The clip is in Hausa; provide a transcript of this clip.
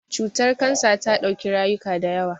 Cutar Kansa ta dauki rayuka da yawa.